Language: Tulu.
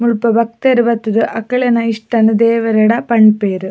ಮುಲ್ಪ ಭಕ್ತೆರ್ ಬತ್ತ್ ದ್ ಅಕ್ಳೆನ ಇಸ್ಟ ದೇವೆರೆಡ ಪನ್ಪೆರ್.